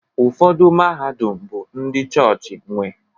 Ụfọdụ mahadum bụ ndị chọọchị nwe